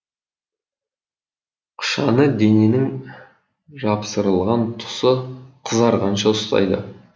қышаны дененің жапсырылған тұсы қызарғанша ұстайды